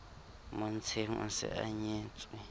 montsheng o se a nyetswe